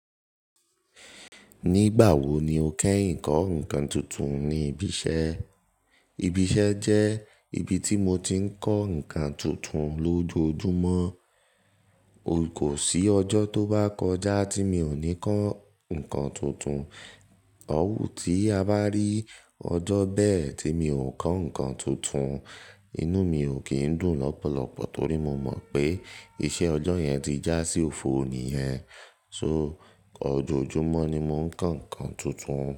Nígbà wo ni o kẹ́yin kọ́ ǹkan tuntun ní ibi iṣẹ́? Ibi iṣẹ́ jẹ́ ibi tí mo ti ń kọ́ ǹkan tuntun lójoojúmọ́. Kò sí ọjọ́ tó bá kọjá tí mi ò ní kọ́ ǹkan tuntun. Ọwú tí a bá rí ọjọ́ bẹ́ẹ̀ tí mi ò kọ́ ǹkan tuntun, inú mi ò kí ń dùn lọ́pọ̀lọpọ̀ torí mo mọ̀ pé iṣẹ́ ọjọ́ yẹn ti já sí òfo ni yẹn. So ọjọ̀ojúmọ́ ni mo ń kọ́ ǹkan tuntun.